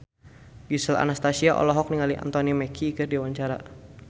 Gisel Anastasia olohok ningali Anthony Mackie keur diwawancara